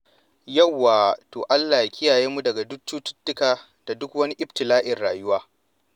Yauwa! To Allah ya kiyaye mu daga cututtuka da duk wani ibtila'in rayuwa.